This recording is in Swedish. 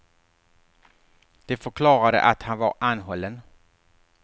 De förklarade att han var anhållen.